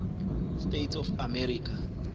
states of america